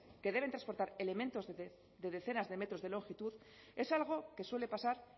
que deben transportar elementos de decenas de metros de longitud es algo que suele pasar